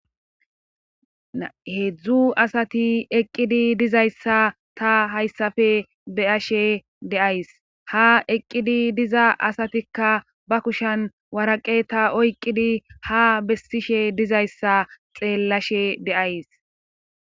Heedzdzu asati eqqidi dizayssa ta hayssafe beyashe deays ha eqqidi diza asatikka ba kushan waraqe ta oyqqidi ha bessishe dizayssa xeellashe deays